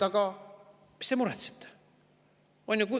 "Aga mis te muretsete?